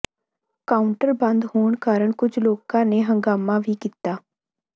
counter ਬੰਦ ਹੋਣ ਕਾਰਨ ਕੁਝ ਲੋਕਾਂ ਨੇ ਹੰਗਾਮਾ ਵੀ ਕੀਤਾ